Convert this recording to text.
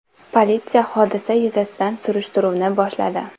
Politsiya hodisa yuzasidan surishtiruvni boshladi.